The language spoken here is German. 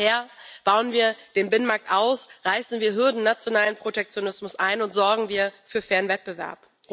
Daher Bauen wir den Binnenmarkt aus, reißen wir Hürden aus nationalem Protektionismus ein und sorgen wir für fairen Wettbewerb!